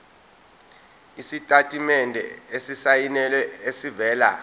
isitatimende esisayinelwe esivela